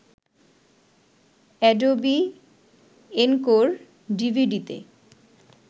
Adobe Encore ডিভিডিতে